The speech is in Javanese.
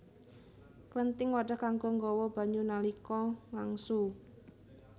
Klenthing wadhah kanggo nggawa banyu nalika ngangsu